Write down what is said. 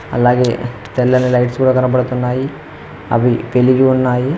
అలాగే తెల్లని లైట్స్ కూడా కనపడుతున్నాయి అవి పెరిగి ఉన్నాయి.